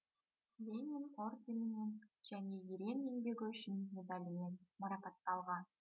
ленин орденімен және ерен еңбегі үшін медальімен марапатталған